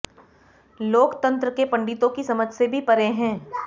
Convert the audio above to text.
लोकतंत्र के पण्डितों की समझ से भी परे है